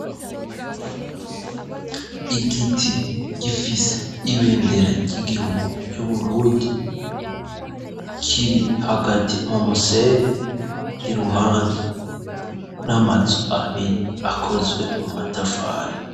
Igiti ,gifise ibendera ry'Igihugu ry'Uburundi ,kiri hagati mu musenyi ,iruhande n'amazu abiri akozwe mu matafari.